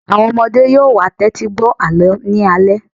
Àwọn ọmọdé yóò wá tẹ́tí gbọ́ àlọ́ ní alẹ́